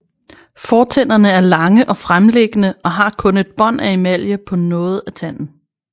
Fortænderne er lange og fremliggende og har kun et bånd af emalje på noget af tanden